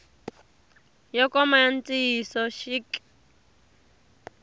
yo koma ya ntiyiso xik